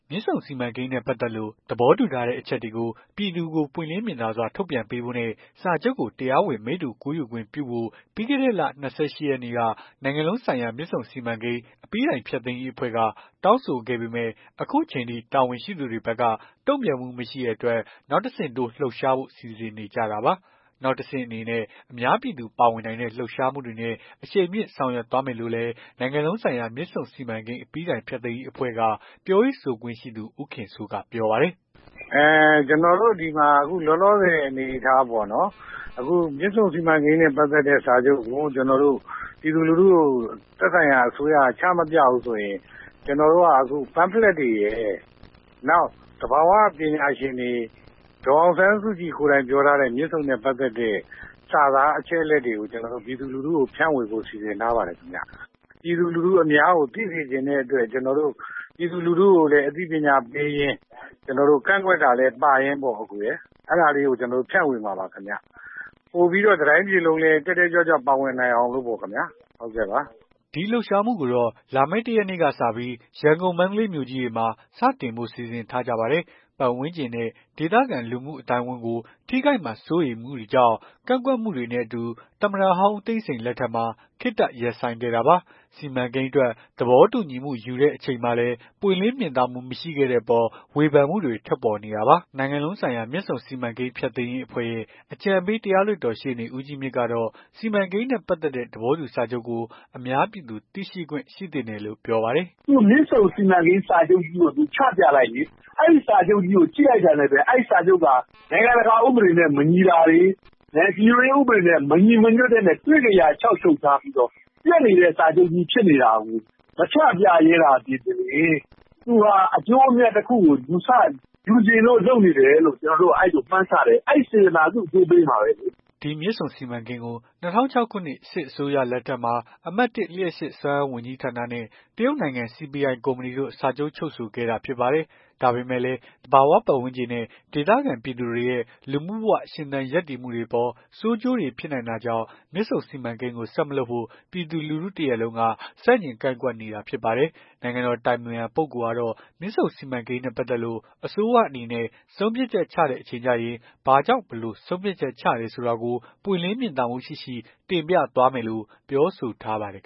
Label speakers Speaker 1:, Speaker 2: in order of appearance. Speaker 1: မြစ်ဆုံစီမံကိန်းနဲ့ ပတ်သက်လို့ သဘောတူထားတဲ့ အချက်တွေကို ပြည်သူကို ပွင့်လင်းမြင်သာစွာ ထုတ်ပြန်ပေးဖို့နဲ့ စာချုပ်ကို တရားဝင် မိတ္တူကူးယူခွင့်ပြုဖို့ ပြီးခဲ့တဲ့လ ၂၈ ရက်နေ့က နိုင်ငံလုံးဆိုင်ရာ မြစ်ဆုံစီမံကိန်း အပြီးတိုင်းဖျက်သိမ်းရေး အဖွဲ့က တောင်းဆိုခဲ့ပေမယ့် အခုချိန်အထိ တာဝန်ရှိသူတွေဘက်က တုံ့ပြန်မှုမရှိတဲ့အတွက် နောက်တဆင့်တိုး လှုပ်ရှားဖို့ စီစဉ်နေကြတာပါ။ နောက်တဆင့်အနေနဲ့ အများပြည်သူ ပါဝင်နိုင်တဲ့ လှုပ်ရှားမှုတွေနဲ့ အရှိန်မြှင့်ဆောင်ရွက်သွားမယ်လို့လည်း နိုင်ငံလုံးဆိုင်ရာ မြစ်ဆုံစီမံကိန်း အပြီးတိုင်ဖျက်သိမ်းရေးအဖွဲ့က ပြောရေး ဆိုခွင့်ရှိသူ ဦးခင်စိုးက ပြောပါတယ်
Speaker 2: ။ "ကျွန်တော်တို့ဒီမှာ လောလောဆယ်အနေအထားပေါ့နော်။ အခုမြစ်ဆုံစီမံကိန်းနဲ့ ပတ်သက်တဲ့စာချုပ်ကို ပြည်သူလူထုကို သက်ဆိုင်ရာအစိုးရက ချမပြဘူးဆိုရင် ကျွန်တော်တို့က pamphlet တွေရယ် နောက် သဘာ၀ ပညာရှင်တွေ ဒေါ်အောင်ဆန်းစုကြည်ကိုယ်တိုင် ပြောထားတဲ့ မြစ်ဆုံနဲ့ ပတ်သက်တဲ့ စာသားအချက်အလက် တွေကို ပြည်သူလူထုကို ဖြန့်ဝေဖို့ စီစဉ်ထားပါတယ်ခင်ဗျ။ ပြည်သူလူထုအများကို သိစေချင်တဲ့အတွက် ကျွန်တော်တို့ ပြည်သူလူထုကို အသိပညာပေးရင်း ကန့်ကွက်တာလည်း ပါရင်းပေါ့ အကိုရယ်။ အဲ့ဒါလေးကို ဖြန့်ဝေမှာပါခင်ဗျ။ ပိုပြီးတော့လည်း တတိုင်းပြည်လုံး တက်တက်ကြွကြွ ပါဝင်နိုင်အောင်ပေါ့ခင်ဗျာ။
Speaker 1: " ဒီလှုပ်ရှားမှုကိုတော့ လာမယ့် ၁ ရက်နေ့ကနေစပြီး ရန်ကုန်မန္တလေး မြို့ကြီးတွေမှာ စတင်ဖို့စီစဉ်ထားကြပါတယ်။ ပတ်ဝန်းကျင်နဲ့ ဒေသခံလူမှုအသိုင်းအဝန်းကို ထိခိုက်မှာ စိုးရိမ်မှုတွေကြောင့် ကန့်ကွက်မှုတွေနဲ့အတူ သမ္မတဟောင်း ဦးသိန်းစိန်လက်ထက်မှာ ခေတ္တရပ်ဆိုင်းခဲ့တာပါ။ စီမံကိန်းအတွက် သဘောတူညီမှု ယူခဲ့ချိန်မှာလည်း ပွင့်လင်းမြင်သာမှု မရှိခဲ့တဲ့အပေါ် ဝေဖန်မှုတွေ ထွက်ပေါ်နေတာပါ။ နိုင်ငံလုံးဆိုင်ရာ မြစ်ဆုံစီမံကိန်း ဖျက်သိမ်းရေး အဖွဲ့ရဲ့ အကြံပေး တရားလွှတ်တော် ရှေ့နေ ဦးကြီးမြင့်ကတော့ စီမံကိန်းနဲ့ ပတ်သက်တဲ့ သဘောတူစာချုပ်ကို အများပြည်သူ သိရှိခွင့်ရှိသင့်တယ်လို့ ပြောပါတယ်
Speaker 3: ။ "မြစ်ဆုံစီမံကိန်းစာချုပ်ကြီးကို ချပြလိုက်လေ။ အဲ့စာချုပ်ကြီးကို ကြည့်လိုက်တာနဲ့ အဲ့စာချုပ်က နိုင်ငံတကာ ဥပဒေနဲ့ မညီတာတွေ ဒီလိုဥပဒေတွေနဲ့ မညီဘဲ တွေ့ကရာလျှောက်ချုပ်ထားပြီးတော့ ပျက်နေတဲ့ စာချုပ်ကြီး ဖြစ်နေတာကို မချပြရဲသာသည်ပင်လျှင် သူဟာ အကျိုးအမြတ်တခုကို ယူချင်လို့ လုပ်နေတယ်လို့ မှန်းဆတယ်။ အဲ့စေတနာ သူ့အကျိုးပေးမှာပဲလေ။
Speaker 1: " ဒီမြစ်ဆုံစီမံကိန်းကို ၂၀၀၆ ခုနှစ် စစ်အစိုးရလက်ထက်မှာ အမှတ် ၁ လျှပ်စစ် စွမ်းအားဝန်ကြီးဌာနနဲ့ တရုတ်နိုင်ငံ CPI ကုမ္ပဏီတို့ စာချုပ် ချုပ်ဆိုခဲ့တာဖြစ်ပါတယ်။ ဒါပေမယ့်လည်း သဘာဝပတ်ဝန်းကျင်နဲ့ ဒေသခံပြည်သူတွေရဲ့ လူမှုဘဝရှင်သန် ရပ်တည်မှုတွေအပေါ် ဆိုးကျိုးတွေဖြစ်နိုင်တာကြောင့် မြစ်ဆုံစီမံကိန်းကို ဆက်မလုပ်ဖို့ ပြည်သူ လူထု တရပ်လုံးက ဆန့်ကျင် ကန့်ကွက်နေတာဖြစ်ပါတယ်။ နိုင်ငံတော် အတိုင်ပင်ခံပုဂ္ဂိုလ်ကတော့ မြစ်ဆုံစီမံကိန်းနဲ့ ပတ်သက်လို့ အစိုးရအနေနဲ့ ဆုံးဖြတ်ချက် ချတဲ့အချိန် ကျရင် ဘာကြောင့် ဘယ်လိုဆုံးဖြတ်ချက် ချတယ်ဆိုတာကို ပွင့်လင်းမြင်သာမှုရှိရှိ တင်ပြသွားမယ်လို့ ပြောဆို ထားပါတယ်